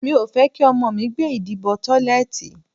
Mi ò fẹ́ kí ọmọ mi gbé ìdí bọ tọ́lẹ̀tì.